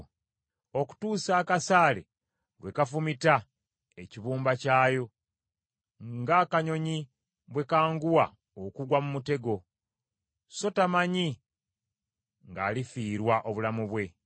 okutuusa akasaale lwe kafumita ekibumba kyayo, ng’akanyonyi bwe kanguwa okugwa mu mutego, so tamanyi ng’alifiirwa obulamu bwe.